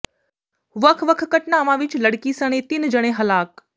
ਵੱਖ ਵੱਖ ਘਟਨਾਵਾਂ ਵਿੱਚ ਲੜਕੀ ਸਣੇ ਤਿੰਨ ਜਣੇ ਹਲਾਕ